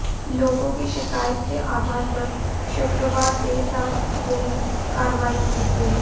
लोगों की शिकायत के आधार पर शुक्रवार देर रात यह कार्रवाई की गई